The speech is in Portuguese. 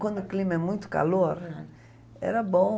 Quando o clima é muito calor, era bom.